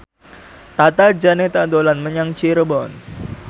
Tata Janeta dolan menyang Cirebon